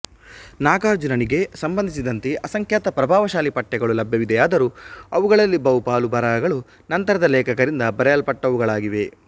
ನಾಗಾರ್ಜುನನಿಗೆ ಸಂಬಂಧಿಸಿದಂತೆ ಅಸಂಖ್ಯಾತ ಪ್ರಭಾವಶಾಲೀ ಪಠ್ಯಗಳು ಲಭ್ಯವಿವೆಯಾದರೂ ಅವುಗಳಲ್ಲಿ ಬಹುಪಾಲು ಬರಹಗಳು ನಂತರದ ಲೇಖಕರಿಂದ ಬರೆಯಲ್ಪಟ್ಟವುಗಳಾಗಿವೆ